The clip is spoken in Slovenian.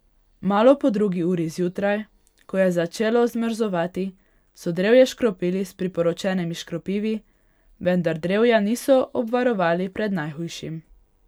Malo po drugi uri zjutraj, ko je začelo zmrzovati, so drevje škropili s priporočenimi škropivi, vendar drevja niso obvarovali pred najhujšim.